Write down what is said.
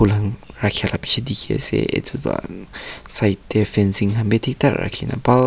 rakila bishi tiki ase etu tho side dae fencing kan bi tik tak rakina bhal.